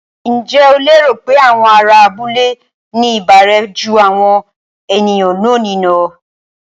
Ǹjẹ́ o lérò pé àwọn ará abúlé ní ìbárẹ́ jú àwọn ènìyàn lónìí lọ?